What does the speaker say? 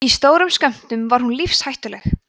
í stórum skömmtum er hún lífshættuleg